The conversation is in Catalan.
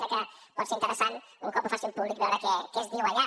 crec que pot ser interessant un cop ho facin públic veure què es diu allà